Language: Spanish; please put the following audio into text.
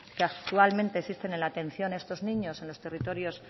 que actualmente existen en la atención a estos niños en los territorios